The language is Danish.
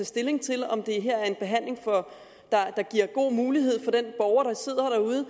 stilling til om det her er en behandling der giver gode muligheder for den borger der sidder derude og